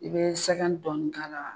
I bɛ sɛgɛn dɔɔnni k'a la.